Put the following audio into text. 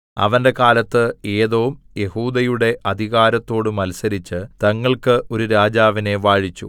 അവന്റെ കാലത്ത് ഏദോം യെഹൂദയുടെ അധികാരത്തോട് മത്സരിച്ച് തങ്ങൾക്ക് ഒരു രാജാവിനെ വാഴിച്ചു